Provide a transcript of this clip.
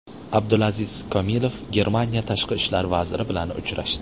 Abdulaziz Komilov Germaniya tashqi ishlar vaziri bilan uchrashdi.